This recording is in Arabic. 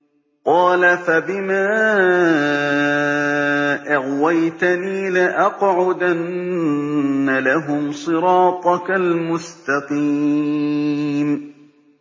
قَالَ فَبِمَا أَغْوَيْتَنِي لَأَقْعُدَنَّ لَهُمْ صِرَاطَكَ الْمُسْتَقِيمَ